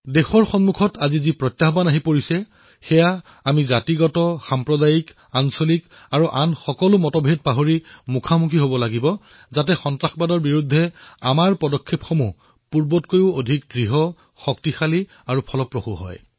আমি সকলোৱে জাতিবাদ সম্প্ৰদায়বাদ ক্ষেত্ৰবাদ আৰু বাকী সকলো মতভেদ পাহৰি দেশৰ সন্মুখত উত্থাপিত হোৱা এই প্ৰত্যাহ্বানৰ মুখামুখি হব লাগিব যাতে সন্ত্ৰাসবাদৰ বিৰুদ্ধে আমাৰ পদক্ষেপ পূৰ্বতকৈও যাতে অধিক দৃঢ় হয় অধিক শক্তিশালী হয় আৰু নিৰ্ণায়ক হয়